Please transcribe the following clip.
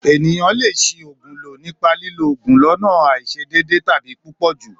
Èniyàn le se ògùn lo nipa lilo òògùn lọ́nà àisedede tàbi púpọ̀jù